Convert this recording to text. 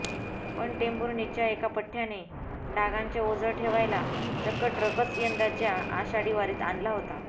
पण टेंभुर्णीच्या एका पठ्ठ्याने डागांचे ओझं ठेवायला चक्क ट्रकच यंदाच्या आषाढी वारीत आणला होता